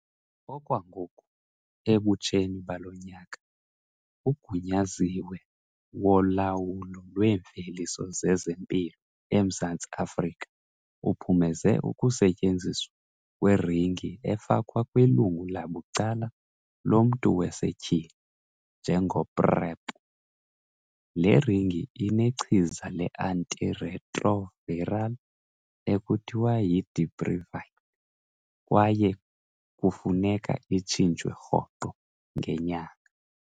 Okwangoku, ebutsheni balo nyaka, uGunyaziwe woLawulo lweeMveliso zezeMpilo eMzantsi Afrika uphumeze ukusetyenziswa kweringi efakwa kwilungu labucala lomntu wasetyhini njengo-PrEP. Le ringi inechiza le-antiretroviral ekuthiwa yi-dapivirine kwaye kufuneka itshintshwe rhoqo ngenyanga.